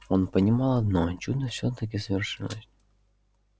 он понимал одно чудо всё-таки свершилось